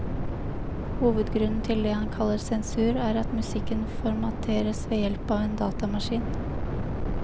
Hovedgrunnen til det han kaller sensur, er at musikken formateres ved hjelp av en datamaskin.